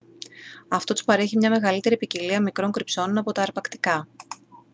αυτό τους παρέχει μια μεγαλύτερη ποικιλία μικρών κρυψώνων από τα αρπακτικά